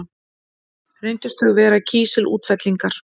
Reyndust þau vera kísilútfellingar.